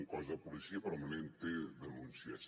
un cos de policia permanentment té denúncies